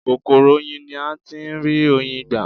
Kòkòrò oyin ni a tí ń rí Oyin gbà.